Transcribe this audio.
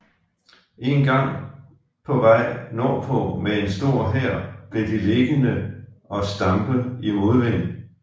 En gang på vej nordpå med en stor hær blev de liggende og stampe i modvind